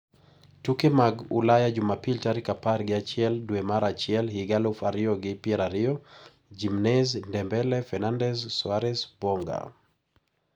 Tuke mag Ulaya Jumapil tarik apar gi achiel dwe mar achiel higa aluf ariyo gi pier ariyo: Jimenez, Dembele, Fernandes, Soares, Boga